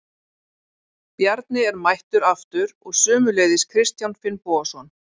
Bjarni er mættur aftur og sömuleiðis Kristján Finnbogason.